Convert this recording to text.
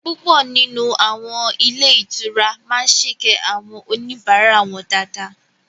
Púpọ̀ nínú àwọn ilé ìtura máa sèkẹ́ àwọn oníbàárà wọn dáadáa